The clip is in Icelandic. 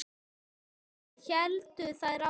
Svona héldu þær áfram.